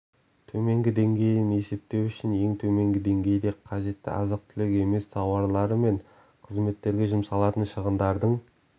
төменгі деңгейін есептеу үшін ең төменгі деңгейде қажетті азық-түлік емес тауарлары мен қызметтерге жұмсалатын шығындардың